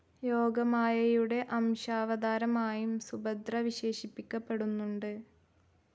യോഗമായയുടെ അംശാവതാരമായും സുഭദ്ര വിശേഷിപ്പിക്കപ്പെടുന്നുണ്ട്.